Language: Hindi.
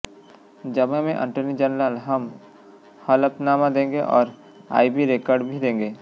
जवाब में अटॉर्नी जनरल हम हलफनामा देंगे और आईबी रेकॉर्ड भी देंगे